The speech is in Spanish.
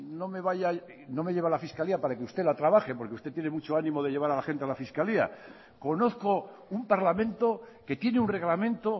no me lleve a la fiscalía para que usted la trabaje porque usted tiene mucho ánimo de llevar a la gente a la fiscalía conozco un parlamento que tiene un reglamento